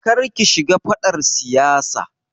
Kar ki shiga faɗar siyasa.